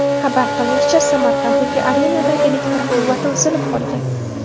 Xabar qilinishicha, Samarqanddagi arenada elektr quvvati uzilib qolgan.